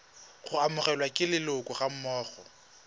go amogelwa ke leloko gammogo